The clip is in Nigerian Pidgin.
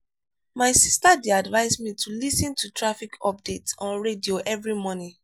my sister dey advise me to lis ten to traffic updates on radio every morning.